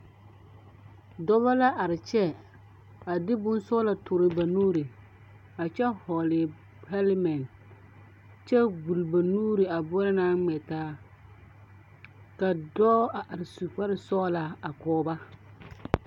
Dɔba la are kyɛ, a de bonsɔglɔ toore ba nuuri a kyɛ hɔle 'helmet' kyɛ gbuli ba nuuri a boɔrɔ naŋ ŋmetaa